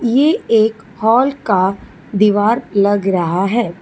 ये एक हॉल का दीवार लग रहा है।